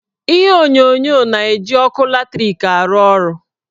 Ihe onyonyo na-eji ọkụ latrik arụ ọrụ.